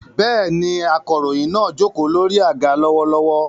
Bẹ́ẹ̀ni, akọ̀ròyìn náà jókòó lórí àga lọ́wọ́lọ́wọ́.